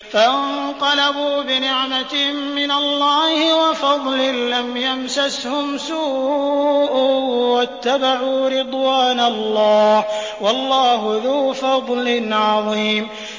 فَانقَلَبُوا بِنِعْمَةٍ مِّنَ اللَّهِ وَفَضْلٍ لَّمْ يَمْسَسْهُمْ سُوءٌ وَاتَّبَعُوا رِضْوَانَ اللَّهِ ۗ وَاللَّهُ ذُو فَضْلٍ عَظِيمٍ